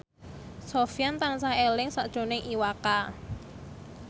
Sofyan tansah eling sakjroning Iwa K